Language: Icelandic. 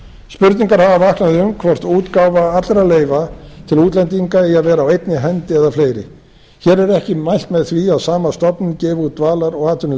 spurningar hafa vaknað um hvort útgáfa allra leyfa til útlendinga eigi að vera á einni hendi eða fleiri hér er ekki mælt með því að sama stofnunin gefi út dvalar og